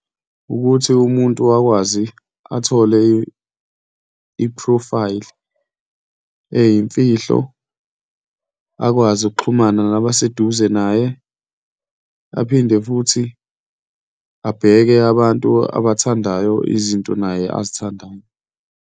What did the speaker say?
Ukuthi umuntu akwazi athole iphrofayili eyimfihlo, akwazi ukuxhumana nabaseduze naye, aphinde futhi abheke abantu abathandayo, izinto naye azithandayo.